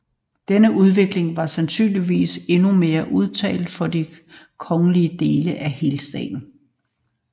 Denne udvikling var sandsynligvis endnu mere udtalt for de kongerigske dele af Helstaten